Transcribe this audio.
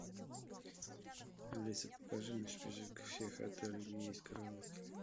алиса покажи мне список всех отелей где есть караоке